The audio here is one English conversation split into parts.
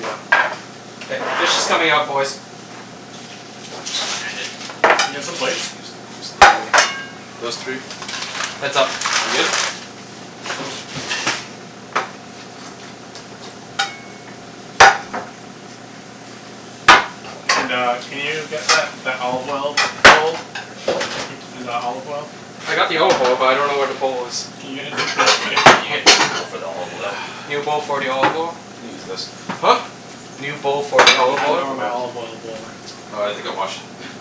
Yeah. K, fish is coming out, boys. You gonna one hand it? Can I get some K, plates? use these three. Those three. Heads up. We good? And uh, can you get that that olive oil bowl? And the olive oil? I got the olive oil, but I don't know where the bowl is. Can you get a new bowl for me? Can you get a new bowl for the olive oil? New bowl for the olive oil? You can use this. Huh? New bowl for the You need olive I a bowl dunno oil. where for the my olive oil. olive oil bowl went. Oh, I think I washed it.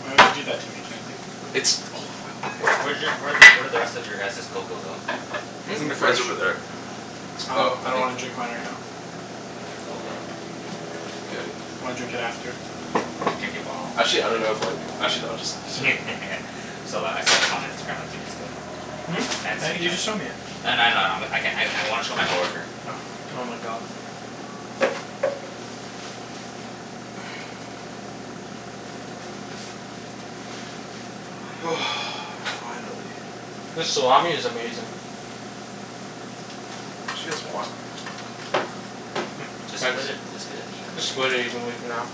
Why would you do that to me, Chancey? It's olive oil, Wh- where okay? did y- where did where did the rest of your guys's cocoa go? Hmm? It's It's in in the the fridge. Mine's fridge. over there. Oh. I Oh, lik- I I don't think wanna drink mine right now. Cocoa. K. I wanna drink it after. Drink it while you're Actually I don't know if eating. like, actually no, I'll just serve I it. saw th- I saw this on Instagram like, two days ago. Hmm? I- you just showed me it. I kn- I know, I know. I'm I can- I I wanna show my coworker. Oh. Oh my god. Finally. This salami is amazing. We should get some more. Mm, Just thanks. split it, just put it evenly Just split it I guess. evenly for now.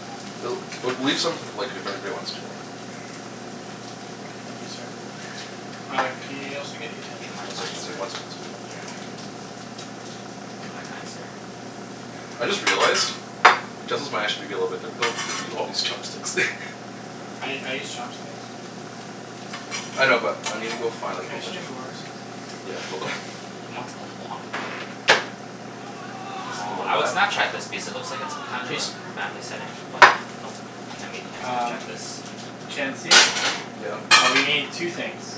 L- well, leave some like, if anybody wants to more. Thank you, sir. Uh, can y- you also Thank get you, utensils, my One please? fine second, one sir. second, one second. Yeah. Thank you, my kind sir. I just realized utensils might actually be a little bit difficult because we all use chopsticks. I I use chopsticks. I know, but I need to go find Can like a I whole actually bunch of get more? forks. Yeah, hold on. He wants a lot more. Thank you, sir. Aw, I would Snapchat this because it looks like it's kind of a Cheese? family setting, but nope. Can't we can't Um Snapchat this. Chancey? Yeah? Uh, we need two things.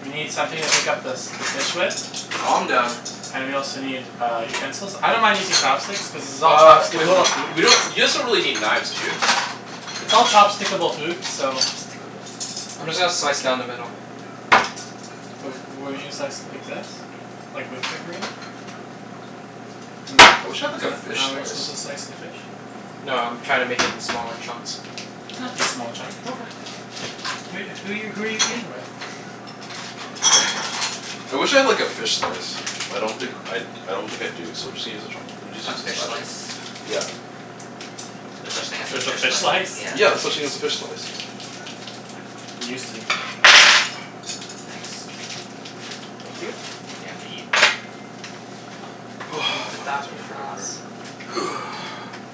We need something to pick up the s- the fish with. Calm down. And we also need, uh, utensils. I don't mind using chopsticks cuz this is all Uh, wait, hold chopstick-able on. food. We don't, you guys don't really need knives, do you? It's all chopstick-able food, so Chopstickable food. I'm just gonna slice down the middle. W- wouldn't you slice it like this? Like, with the grain? Isn't I that wish I had like isn't a that fish how you're supposed slice. to slice the fish? No, I'm trying to make it into smaller chunks. They don't have to be small chunk. Okay. Who who are you who are you who are you eating with? I wish I had like a fish slice. But I don't think I d- I don't think I do, so just use a chopst- just A use a fish spatula. slice? Yeah. There's such thing as a There's a fish fish slice? slice? Yeah. Yeah, there's such thing as a fish slice. News to me. Ah, thanks. Thank you. Yeah, I'm gonna eat.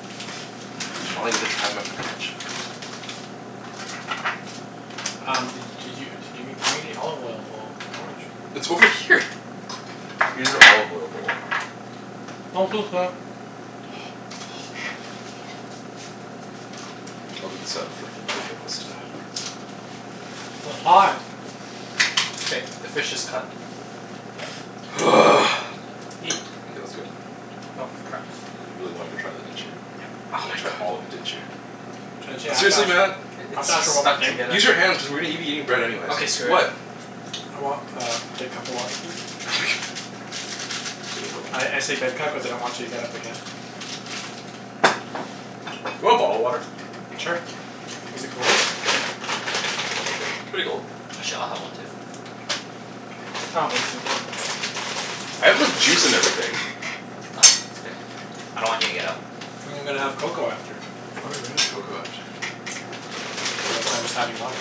Finally Mmm. get to try my focaccia. Um, d- did you d- give me gimme the olive oil bowl? Wrong with you? It's over here. Use an olive oil bowl. I'll leave this out for anybody who wants to W- hot. K, the fish is cut. Eat. K, let's go. Oh f- crap. You really wanted to try that, didn't you? Yep. Oh You my wanted to try all god. of it, didn't you? Chancey, I have to Seriously Mat? ask I- I have it's to ask just for one more stuck thing. together. Use your hands cuz we're gonna be eating bread anyways. Okay, screw it. What? I want uh, a big cup of water, please? Okay, hold I I on. say big cup cuz I don't want you to get up again. You want bottled water? Sure. Is it cold? Pretty cold. Actually, I'll have one too. I'll have one too. I have like juice and everything. No, it's okay. I don't want you to get up. I'm gonna have cocoa after. Oh right, we're gonna have cocoa after. So that's why I'm just having water.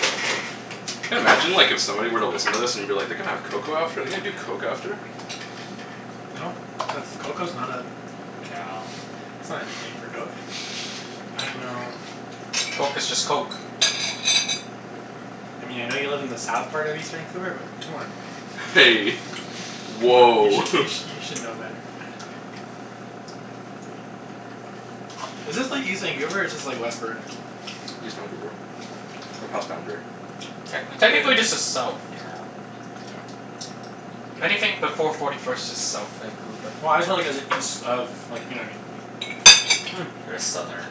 Can imagine like, if somebody were to listen to this, and be like, "They're gonna have cocoa after? They're gonna do coke after?" No. That's cocoa's not a Yeah. that's not anything for coke. I dunno Coke is just coke. Hey. You Woah! should you sh- you should know better. Is this like, east Vancouver, or is this like, west Burnaby? East Vancouver. We're past Boundary. Technically, yeah. Technically this is south. Yeah. I don't Anything before forty first is south Vancouver. Well, I was just wonder cuz it's east of, you know what I mean? You're a southerner.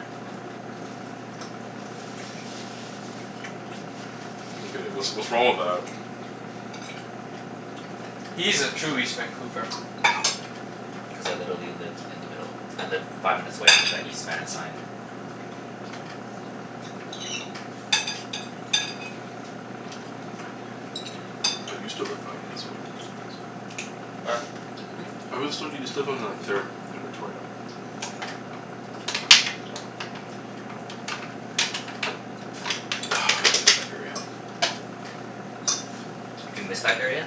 get it. What's what's wrong with that? He's a true east Vancouver. Cuz I literally live in the middle. I live five minutes away from the East Van sign. I used to live five minutes away from the East Van sign. Where? Hmm? I was so, used to live on like third and Victoria. I miss that area. Do you miss that area?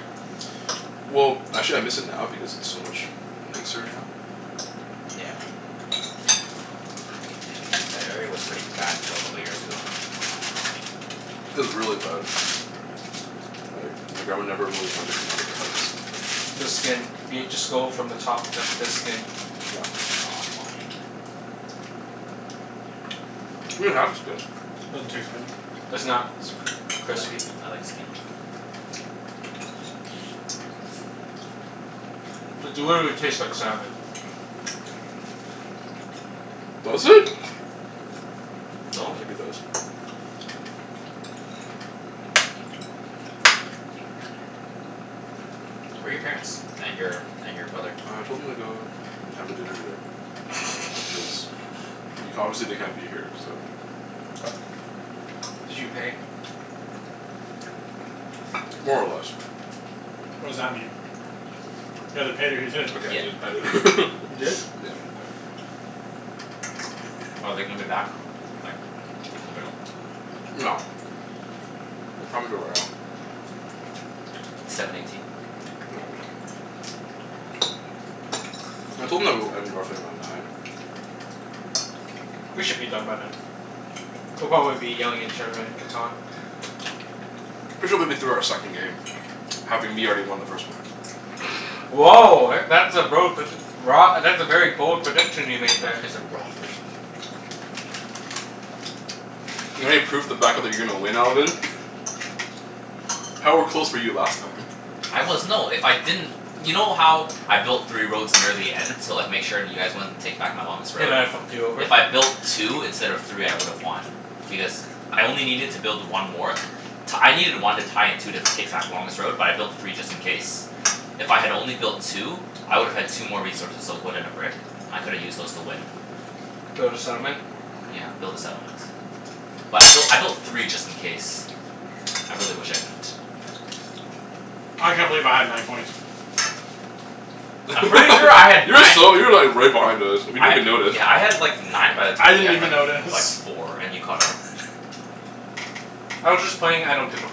Well, actually I miss it now because it's so much nicer now. Yeah. Like, that area was pretty bad until a couple years ago. It was really bad. Like, my grandma never really wanted to come out of the The skin. house. Be it, just go from the top. That's the skin. Yeah. Aw, fine. You can have the skin. Doesn't taste good. It's not I like crispy. I like skin. It literally tastes like salmon. Mmm. Does it? I Little don't think bit. it does. Where are your parents? And your and your brother? I told them to go and have a dinner today, cuz y- obviously they can't be here, so Did you pay? More or less. What does that mean? You either paid or you didn't. Okay, Yeah, I didn't. I an- didn't. You didn't? Yeah, I didn't pay. Are they gonna be back, like, in the middle? No. What time is it right now? Seven eighteen. They won't be. I told them that it would end roughly around nine. We should be done by then. We'll probably be yelling at each other in Catan. We should be be through our second game. Having me already won the first one. Woah, e- that's a bro predic- broa- that's a very bold prediction you made I thought there. you said raw at first. Not any proof to back up that you're going to win, Alvin? How are close were you last time? I was, no, if I didn't You know how I built three roads near the end? To like, make sure you guys wouldn't take back my longest They road? might have fucked you over. If I built two instead of three I would have won. Because I only needed to build one more to t- I needed one to tie and two to take back the longest road, but I built three just in case. If I had only built two, I would have had two more resources. So a wood and a brick. I could've used those to win. Build a settlement? Yeah, build a settlement. But I built I built three just in case. I really wish I didn't. I can't believe I had nine points. I'm pretty sure I had You were nine so, you were like right behind us. We I didn't ha- even notice. yeah, I had like nine by the I time you didn't had even like f- like notice. four, and you caught up. I was just playing I don't give a f-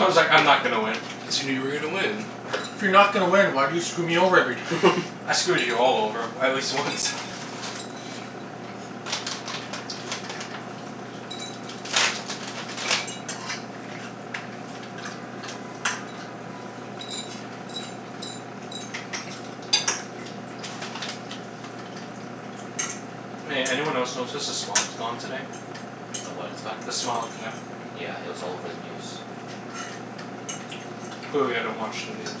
I was like, "I'm not gonna win." Assuming you were gonna win? If you're not gonna win, why do you screw me over every time? I screwed you all over at least once. Hey, anyone else notice s- the smog's gone today? The what is gone? The smog, yeah. Yeah, it was all over the news. Clearly I don't watch the news.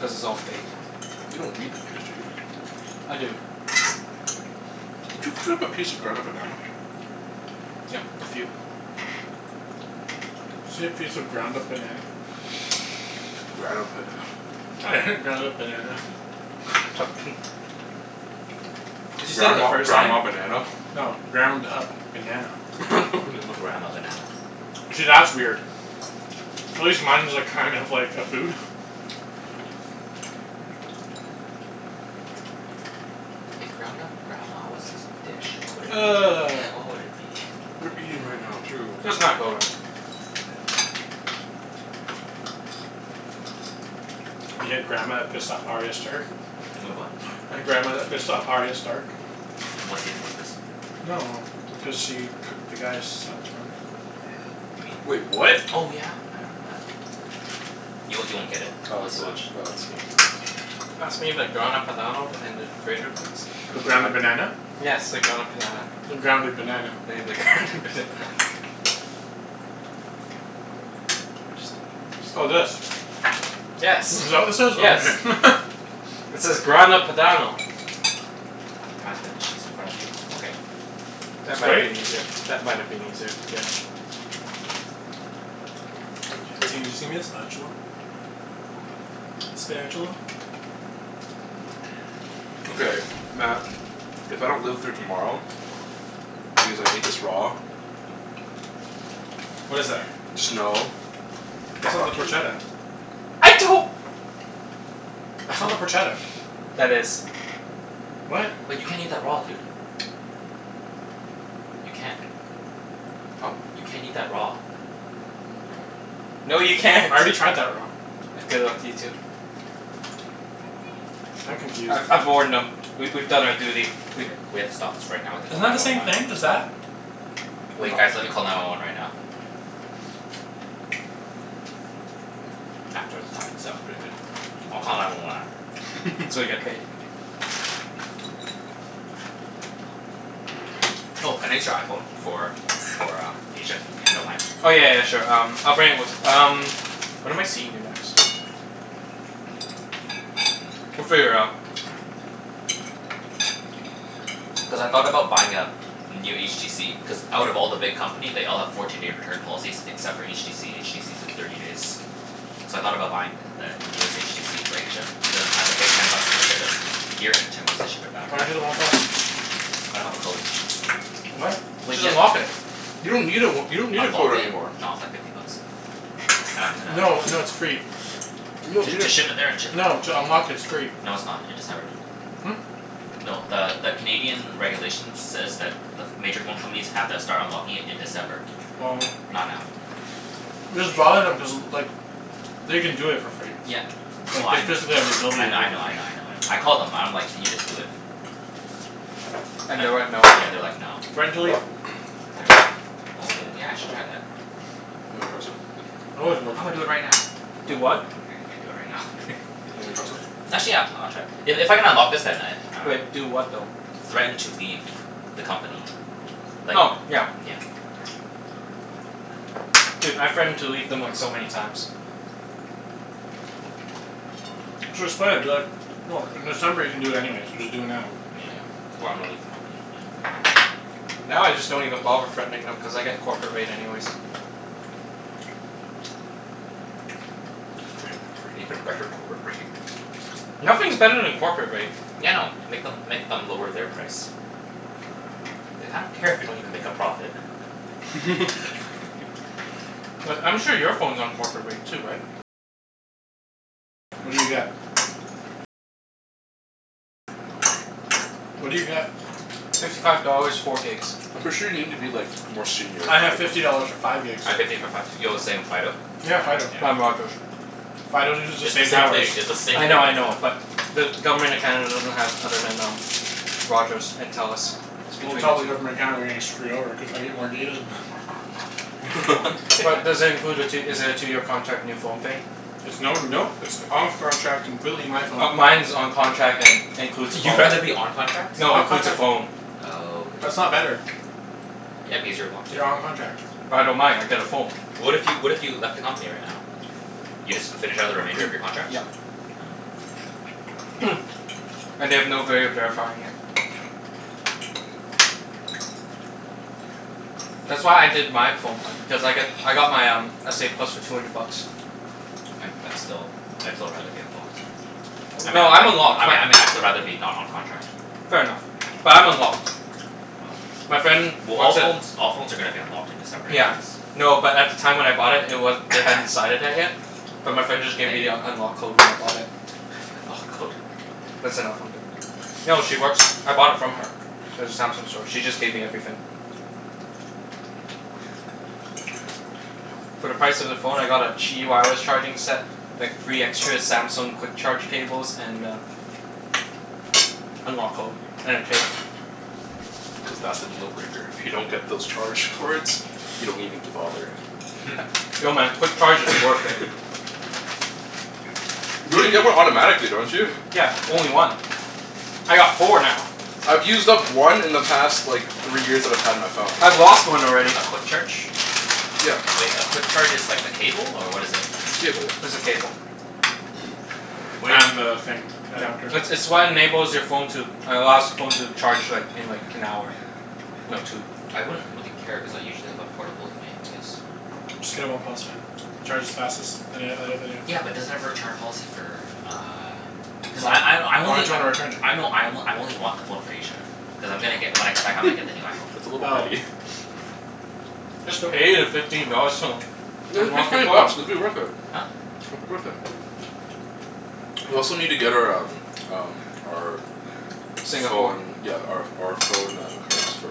Cuz it's all fake. You don't read the news, do you? I do. Did you cut up a piece of Grana Padano? Yep, a few. Say piece of ground Grana up Pada- banana? I heard ground up banana. Cuz you said it the Grandma first time. grandma banana? No. Ground up banana. Grandma banana. See, that's weird. At least mine was like, kind of like a food. If ground up grandma was a s- dish, what would it be? What would it be? We're eating right now, too. Let's not go rub. We had grandma that pissed off Arya Stark? Wait, What? The grandma that pissed off Arya Stark. In what season was this? No no no. Because she cooked the guy's sons, remember? You mean, Wait, what? oh yeah! I remember that. Y- you won't get it Oh unless is you it watch oh, it's skin Pass me the Grana Padano and the grater please? The ground up Grana Padan- banana? Yes, the ground up panana. The grounded banana. Yeah, the ground up banana. Oh, this? Yes. Is that what this is? Oh Yes. okay. It says Grana Padano. Can you pass me the cheese in front of you? Okay. That might been easier. That might have been easier, yeah. the spatula? Spatula. Okay, Mat, if I don't live through tomorrow because I ate this raw What is that? just know It's not the fuck you. porchetta? I don't That's not the porchetta. That is. What? Wait, you can't eat that raw, dude. You can't. Huh? You can't eat that raw. Yeah, you can. No, you can't. I already tried that raw. Good luck to you, too. I'm confused. I I've warned No. them. We we've done our duty. We We h- we have to stop this right now and Isn't call that nine the one same one. thing as that? Wait guys, No. let me call nine one one right now. After the salmon. The salmon's pretty good. I'll call nine one one after. So we get paid. Oh, can I use your iPhone for for uh, Asia, if you don't mind? Oh, yeah yeah yeah, sure. Um, I'll bring it with um When am I seeing you next? We'll Mm, figure it out. yeah. Cuz I thought about buying a new HTC Cuz out of all the big company they all have fourteen day return policies except for HTC. HTC's a thirty days. So I thought about buying th- the newest HTC for Asia. But then I have to pay ten bucks to ship it here and ten bucks to ship it back. Why don't you do the one plus? I don't have a code. What? Wait, Just ye- unlock it. You don't need a w- you don't need a Unlock code it? anymore. No, it's like fifty bucks. I'm gonna No, no, it's free. You don- To you to d- ship it there and ship it back? No, to unlock it, it's free. No, it's not. In December. Hmm? No, the the Canadian regulations says that the ph- major phone companies have to start unlocking it in December. Oh. Not now. Just bother them, cuz like they can do it for free. Yeah, well Like, I they kn- physically have the I kn- I ability to know, I know, I know, I know. I called them and I'm like, "Can you just do it?" And And they went, "No"? yeah, they're like, "No." Threaten to leave. Threaten to leave? Oh, yeah I should try that. Wanna try a sip? They always will. I'm gonna do it right now. Do what? What? I can't do it right now. You wanna try some? Actually, yeah. I wanna try. I- if I can unlock this then I, I dunno. Wait. Do what, though? Threaten to leave the company. Like, Oh, yeah. yeah. Dude, I threatened to leave them like, so many times. Just play it, be like, "Look, in December you can do it anyways, so just do it now." Yeah. "Or I'm gonna leave the company." Yeah, okay. Now, I just don't even bother threatening them cuz I get corporate rate anyways. Threaten them for an even better corporate rate. Nothing's better than corporate rate. Yeah, I know. Make them make them lower their price. Like, I don't care if you don't even make a profit. Like, I'm sure your phone's on corporate rate too, right? Yeah. No. What do you get? Fifty five dollars, four gigs. I'm pretty sure you need to be like, more senior I have to get fifty it. dollars for five gigs. I have fifty for five too. Yo, the same, Fido? Yeah, Yeah, Fido. I'm yeah. Rogers. Fido uses It's the the same same thing. towers. It's the same I thing, know, I know, yeah. but the Government of Canada doesn't have other than um Rogers and Telus. It's Well, between tell the the two. Government of Canada they're getting screwed over, cuz I get more data than them. But does it include a tw- is it a two year contract, new phone thing? It's no, no. It's off contract, completely my phone. Oh, mine's on contract and includes a phone. You'd rather be on contract? No, includes a phone. Oh, I That's see. not better. Yeah, because you're locked in. You're on contract. But I don't mind. I get a phone. What if you, what if you left the company right now? You just finish out the remainder of your contracts? Yeah. Oh. And they have no vay of verifying it. That's why I did my phone plan. Cuz I got I got my um, s a plus for two hundred bucks. I'd I'd still, I'd still rather be unlocked. I mean No, I I'm mean I unlocked. My mean I mean I'd still rather be not on contract. Fair enough. But I'm unlocked. Oh. My friend Well, all works at phones all phones are gonna be unlocked in December Yeah. anyways. No, but at the time when I bought it, it wa- they hadn't decided that yet. But my friend just gave Thank me you. the unlock code when I bought it. Lock code. That's enough. I'm good. No, she works, I bought it from her. At the Samsung store. She just gave me everything. For the price of the phone I got a charging set. Like, three extra Samsung quick charge cables and a unlock code. And a case. Cuz that's the deal breaker. If you don't get those charge cords you don't even g- bother. No man, quick charge is worth it. You You already d- get one automatically, don't you? Yeah, only one. I got four now. I've used up one in the past like three years that I've had my phone. I've lost one already. A quick charge? Yeah. Wait, a quick charge is like a cable, or what is it? It's a cable, yeah. It's a cable. Wait And the thing. Yeah. Adapter. It's it's what enables your phone to allows the phone to charge like, in like, an hour. No, two. I wouldn't really care cuz I usually have a portable with me anyways. Just get a one plus, man. It charges fastest than an- oth- other Yeah, but does it have a return policy for uh Cuz I I I Why only would you wanna return it? I know, I o- I only want the phone for Asia. Cuz I'm gonna get, when I come back I'm gonna get the new iPhone. That's a little Oh. petty. Just pay the fifteen dollars to Yeah, just pay unlock your twenty phone. bucks. It'll be worth it. Huh? It'll be worth it. We also need to get our um um our Singapore. phone, yeah, our ph- our phone uh cards. For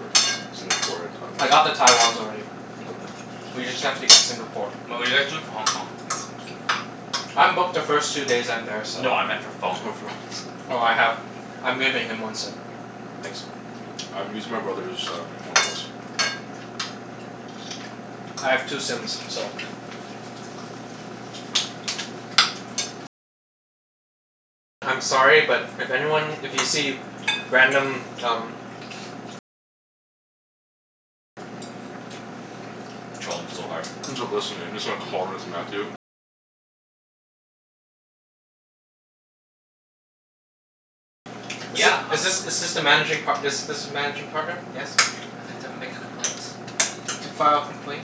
Singapore and I got the Taiwan. Taiwans already. We just have to get Singapore. But what are you guys doing for Hong Kong? I'm booked the first two days I'm there, so No, I meant for For phone. phones. Oh, I have, I'm giving him one sim. Nice. I'm using my brother's um one plus. I have two sims, so I'm sorry, but if anyone, if you see random, um Troll them so hard. Is th- Yeah, um is this is this the managing par- this this is managing partner? Yes? I'd like to make a complaint. To file a complaint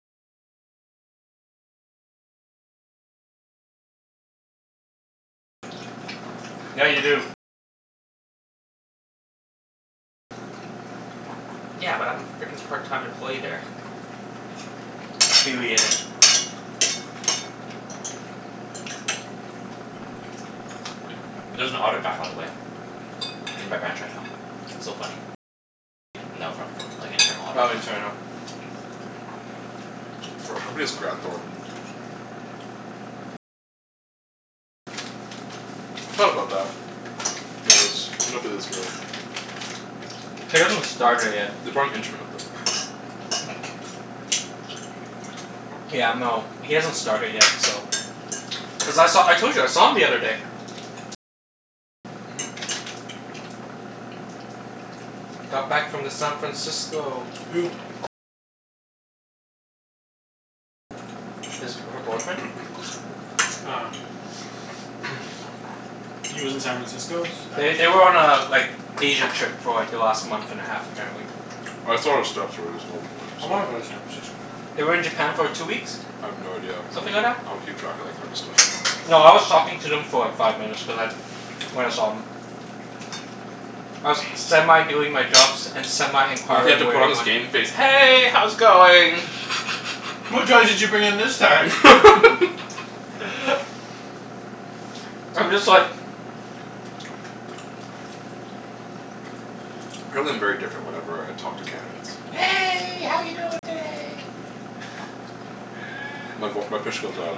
Yeah, you do. Yeah, but I'm frickin' part time employee there. Affiliated. Mm, there's an audit guy, by the way. In my branch right now. Oh, internal. For our company it's Graham Thornton. I thought about that. He hasn't started yet. They're probably interning with him. Yeah, no, he hasn't started yet, so Cuz I saw, I told you I saw him the other day. Mhm. Got back from the San Francisco. Who? His, her boyfriend. Ah. He lives in San Francisco? Is They th- they were on a like, Asia trip for like, the last month and a half apparently. I wanna go to San Francisco. They were in Japan for two weeks. I have no idea. I Something like don't that. I don't keep track of that kind of stuff. No, I was talking to them for like, five minutes cuz I when I saw 'em. I was semi doing my jobs and semi He had to inquiring where put they on his went. game face. "Hey, how's it going?" What drugs did you bring in this time? I'm just like Apparently I'm very different whenever I talk to candidates. "Hey, how you doing today?" My voi- my pitch goes up.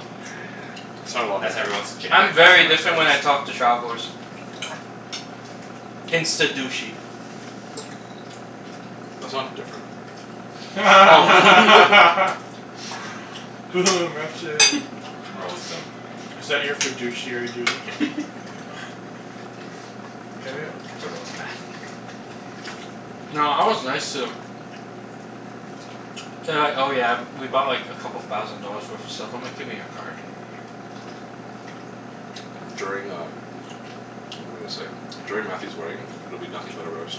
I sound a lot That's nicer. everyone's I'm generic very different when customer I service. talk to travelers. Insta douchey. That's not different. Oh Is that your fiduciary duty? f- To Get it? ro- to roast Mat. No, I was nice to them. They were like, "Oh yeah, we bought like, a couple thousand dollars worth of stuff." I'm like, "Give me your card." During um, what was I gonna say? During Mathew's wedding, it'll be nothing but a roast.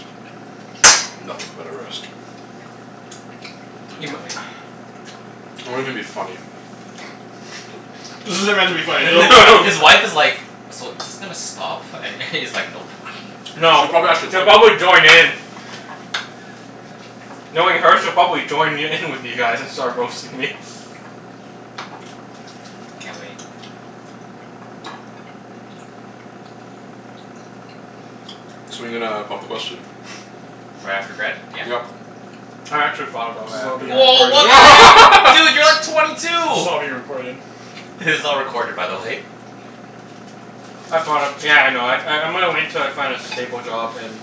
Nothing but a roast. I You mi- can't wait. It won't even be funny. This isn't meant to be funny His wife is like, "So, is this gonna stop?" And he's like, "Nope." No, She probably actually she'll would. probably join in. Knowing her, she'll probably join y- in with you guys and start roasting me. Can't wait. So when are you gonna pop the question? Right after grad, yeah? Yep. I actually thought about This is right all after being grad. Woah, what the heck? Dude! You're like twenty This two! is all being recorded. This is all recorded, by the way. I thought of, yeah, I know. I I'm gonna wait till I find a stable job and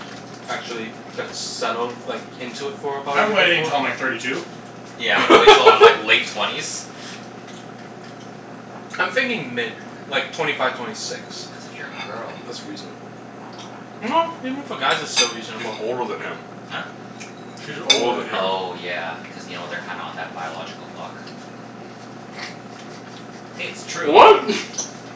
actually get settled like, into it for about a I'm year waiting before. until I'm like thirty two. Yeah, I'm gonna wait til I'm like late twenties. I'm thinking mid. Like, twenty five, twenty six. That's if you're a girl. That's reasonable. No, even for guys it's still She's reasonable. older than him. Huh? She's She's older older than than him. him. Oh yeah, cuz you know, they're kinda on that biological clock. Hey, it's true. What?